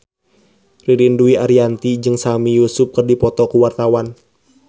Ririn Dwi Ariyanti jeung Sami Yusuf keur dipoto ku wartawan